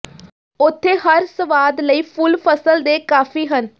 ਉੱਥੇ ਹਰ ਸਵਾਦ ਲਈ ਫੁੱਲ ਫਸਲ ਦੇ ਕਾਫ਼ੀ ਹਨ